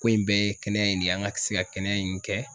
Ko in bɛɛ ye kɛnɛya in de ye, an ka se ka kɛnɛya in kɛ.